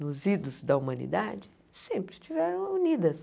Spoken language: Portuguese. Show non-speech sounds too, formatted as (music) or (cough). nos (unintelligible) da humanidade, sempre estiveram unidas.